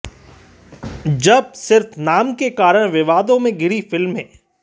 जब सिर्फ नाम के कारण विवादों में घिरीं फिल्में